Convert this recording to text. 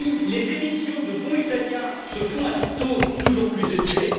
Les émissions de bons italiens se font à des taux toujours plus élevés.